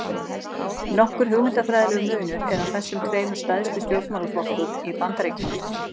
Nokkur hugmyndafræðilegur munur er á þessum tveimur stærstu stjórnmálaflokkum í Bandaríkjunum.